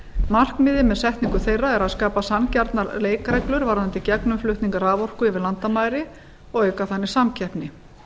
markmiðið með setningu þeirra er að skapa sanngjarnar leikreglur varðandi gegnumflutning raforku yfir landamæri og auka þannig samkeppni